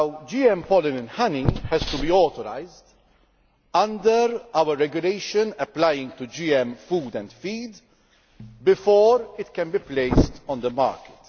GM pollen in honey has to be authorised under our regulation applying to GM food and feed before it can be placed on the market.